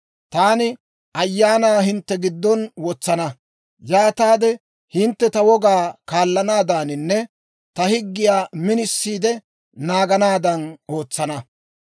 Taani ta Ayaanaa hintte giddon wotsana; yaataade hintte ta wogaa kaallanaadaaninne ta higgiyaa minisiide naaganaadan ootsana.